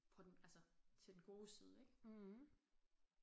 På den altså til den gode side ik